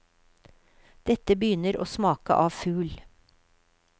Dette begynner å smake av fugl.